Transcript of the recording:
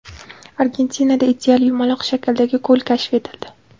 Argentinada ideal yumaloq shakldagi ko‘l kashf etildi.